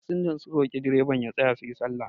fasinjan sun roki direban ya tsaya su yi sallah